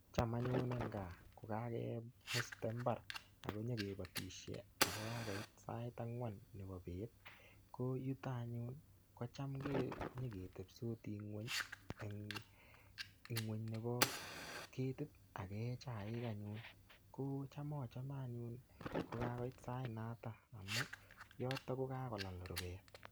Cham anyun eng' kaa ko kake muste mbar ako nyikipatishe ako kakoit sait ang'wan nepo peet ko yuto anyun ko cham nyi ketepstisi ng'weny eng' ngw'weny nepo ketit ak ke ee chaik anyun. Ko cham achame anyun ko kakoit sainotok amun yotok ko kakolal rupet.